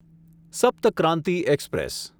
Sapta Kranti express